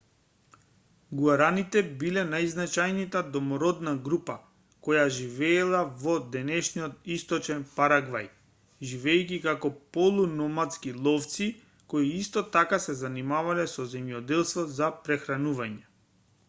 гуараните биле најзначајната домородна група која живеела во денешен источен парагвај живеејќи како полу-номадски ловци кои исто така се занимавале со земјоделство за прехранување